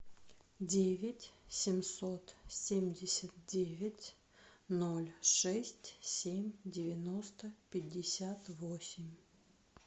девять семьсот семьдесят девять ноль шесть семь девяносто пятьдесят восемь